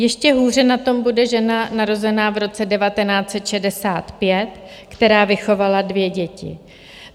Ještě hůře na tom bude žena narozená v roce 1965, která vychovala dvě děti.